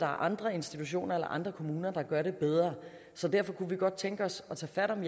andre institutioner eller andre kommuner der gør det bedre så derfor kunne vi godt tænke os at tage fat om